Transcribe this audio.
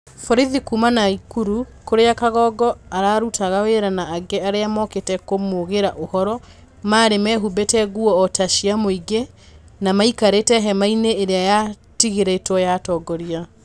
Borithi kuuma Nakuru kũrĩa Kangogo aarũtaga wĩra na angĩ arĩa mookĩte kũmuugĩra ũhoro marĩ meehumbĩte nguo o ta cia mũingĩ na maikarĩte hema-inĩ ĩrĩa yatigĩrĩtwo atongoria.